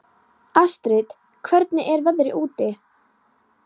Sunniva, heyrðu í mér eftir fimmtán mínútur.